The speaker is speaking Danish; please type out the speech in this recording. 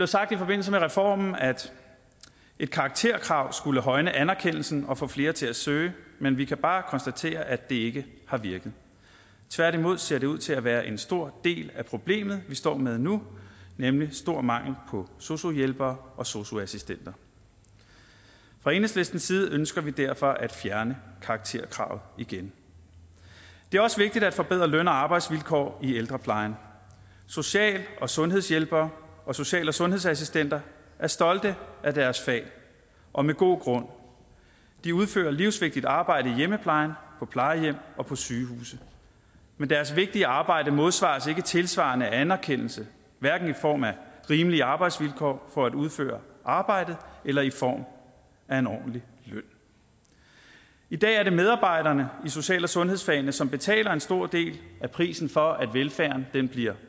sagt i forbindelse med reformen at et karakterkrav skulle højne anerkendelsen og få flere til at søge men vi kan bare konstatere at det ikke har virket tværtimod ser det ud til at være en stor del af problemet vi står med nu nemlig stor mangel på sosu hjælpere og sosu assistenter fra enhedslistens side ønsker vi derfor at fjerne karakterkravet igen det er også vigtigt at forbedre løn og arbejdsvilkår i ældreplejen social og sundhedshjælpere og social og sundhedsassistenter er stolte af deres fag og med god grund de udfører livsvigtigt arbejde i hjemmeplejen på plejehjem og på sygehuse men deres vigtige arbejde modsvares ikke tilsvarende af anerkendelse hverken i form af rimelige arbejdsvilkår for at udføre arbejdet eller i form af en ordentlig løn i dag er det medarbejderne i social og sundhedsfagene som betaler en stor del af prisen for at velfærden bliver